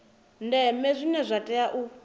ndeme zwine zwa tea u